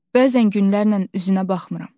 Bəzən günlərlə üzünə baxmıram.